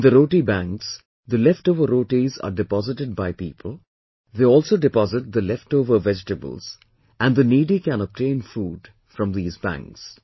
In the Roti Banks, the leftover rotis are deposited by people, they also deposit the leftover vegetables and the needy can obtain food from these banks